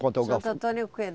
Quanto eu. Santo Antônio o quê?